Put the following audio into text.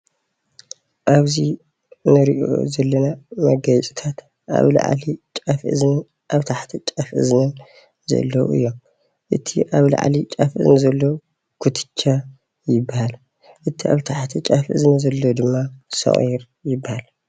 ኣብዚ እንሪኦ ዘለና መጋየፅታት ኣብ ላዕሊ ጫፍ እዝኒ ኣብ ታሕቲ ጫፍ እዝኒ ዘለው እዮሞ። እቲ ኣብ ላዕሊ ጫፍ እዝኒ ዘሎ ኩትቻ እንትኾን እቲ ኣብ ታሕቲ ጫፍ እዝኒ ዘሎ ኸዓ ሰቁር ዮበሃል።